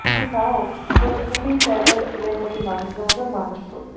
কিন্তু তাও প্রতেকেই চায় তার ছেলে মেয়েকে মানুষের মতো মানুষ করতে।